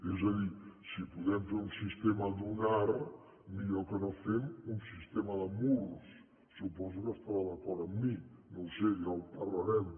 és a dir si podem fer un sistema dunar millor que no fem un sistema de murs suposo que estarà d’acord amb mi no ho sé ja en par·larem